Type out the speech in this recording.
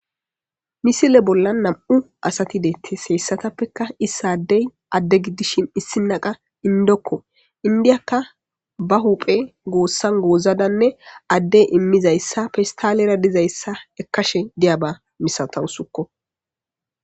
misile bolla nam7u asati deettes heyssatappekka issaddey adde giddishin issinaqa indokko indiyakka ba huphe goossan goozadanne addey immizayssa festalera dizayssa ekkashe diyaba misatawu sukko